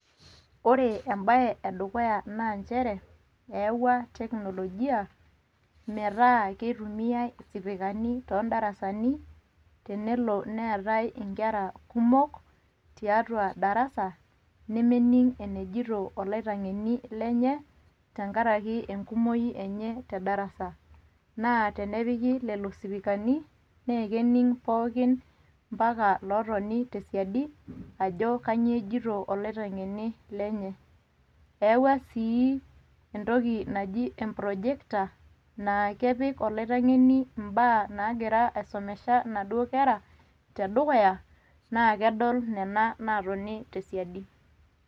Ore embae edukuya na njere eyawua teknolojia meeta kitumiyai isipikani todarasani tenelo netae inkera kumok tiatua darasa nemening eneijoito oloitangeni lenye tenkaraki enkumoi enye tedarasa naa tenepiki lelo sipikani naa kening pooki emapaka lotoni tesiadi ajo kanyio ejoito ilaitengeni lenye eyawua sii entoki naaji enprojector naa kepik olaitangeni imbaa nangira aisomesha inaduo kera tedukuya naa kedol nena natoni tesiadi.